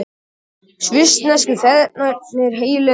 Svissnesku feðgarnir heilir á húfi